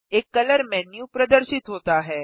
एक colour menu प्रदर्शित होता है